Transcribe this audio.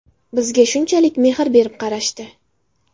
Bizga shunchalik mehr berib qarashdi.